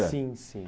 Sim, sim.